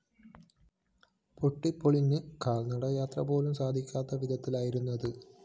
പൊട്ടിപോളിഞ്ഞ് കാല്‍ നടയാത്ര പോലും സാധിക്കാത്ത വിധത്തിലായിരിക്കുന്നത്